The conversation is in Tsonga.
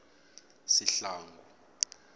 sihlangu